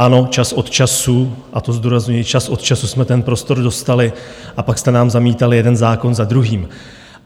Ano, čas od času, a to zdůrazňuji, čas od času jsme ten prostor dostali, a pak jste nám zamítali jeden zákon za druhým.